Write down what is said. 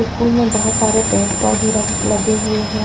School में बहुत सारे पेड़ पौधे लगे हुए हैं।